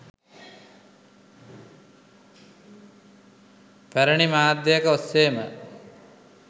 පැරණි මාධ්‍යයක ඔස්සේම